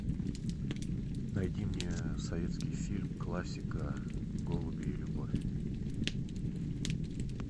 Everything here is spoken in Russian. найди мне советский фильм классика голуби и любовь